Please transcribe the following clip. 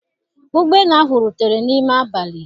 Ụgbọ elu ahụ rutere n'ime abalị